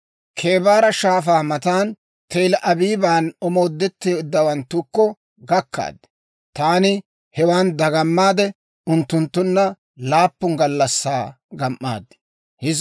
Kebaara Shaafaa matan, Tel-Abiiban omoodetteeddawanttukko gakkaad. Taani hewan dagamaade, unttunttunna laappun gallassaa gam"aad.